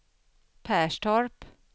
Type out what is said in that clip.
Perstorp